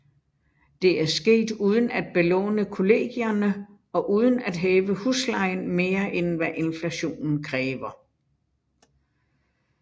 Dette er sket uden at belåne kollegierne og uden at hæve huslejen mere end hvad inflation kræver